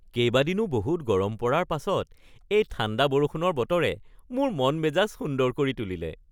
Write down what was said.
কেইবাদিনো বহুত গৰম পৰাৰ পাছত এই ঠাণ্ডা বৰষুণৰ বতৰে মোৰ মন-মেজাজ সুন্দৰ কৰি তুলিলে